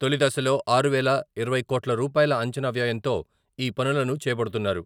తొలిదశలో ఆరు వేల ఇరవై కోట్ల రూపాయల అంచనా వ్యయంతో ఈ పనులను చేపడుతున్నారు.